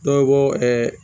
Dɔ bɔ